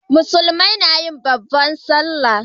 musulmai nayi babban sallah